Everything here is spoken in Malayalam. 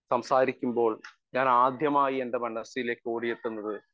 സ്പീക്കർ 1 സംസാരിക്കുമ്പോൾ ഞാനാദ്യമായി എൻ്റെ മനസ്സിലേക്ക് ഓടിയെത്തുന്നത്